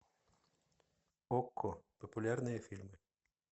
окко популярные фильмы